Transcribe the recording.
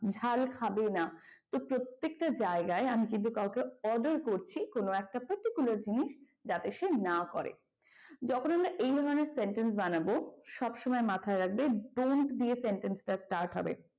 ঝাল খাবেনা তো প্রত্যেকটা জায়গায় আমি যদি কাউকে order করছি কোন একটা particular জিনিস যাতে সে না করে যখন আমরা এই ধরনের sentence বানাবো সব সময় মাথায় রাখব dont দিয়ে sentence টা start হবে।